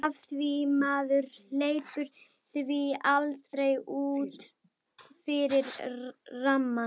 Af því maður hleypir því aldrei út fyrir rammann.